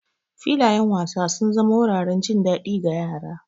Filayen wasa sun zama wuraren jin daɗi ga yara.